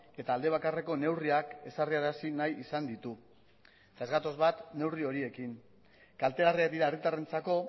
eta alde bakarreko neurriak ezarri arazi nahi izan ditu eta ez gatoz bat neurri horiekin kaltegarriak dira herritarrentzako